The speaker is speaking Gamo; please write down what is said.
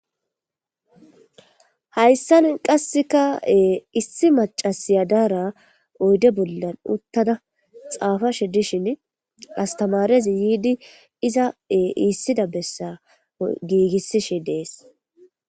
hayssan qassekae issi macasiyadaara oyde bollan uttada xaafashe dishin astamarezi yiidi izae iissida bessa giigissishi dees